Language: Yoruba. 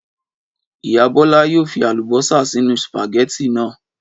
Ìyá Bọ́lá yóò fi àlùbọ́sà sínú sùpàgẹ́tì náà.